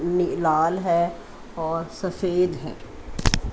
नी लाल है और सफेद है।